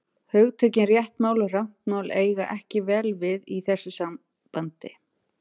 Hugtökin rétt mál og rangt mál eiga ekki vel við í þessu sambandi.